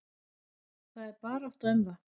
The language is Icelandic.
Það er barátta um það.